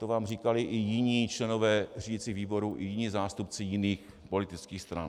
To vám říkali i jiní členové řídicího výboru i jiní zástupci jiných politických stran.